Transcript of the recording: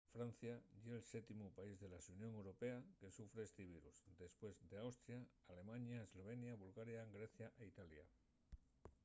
francia ye’l séptimu país de la xunión europea que sufre esti virus; depués d’austria alemaña eslovenia bulgaria grecia y italia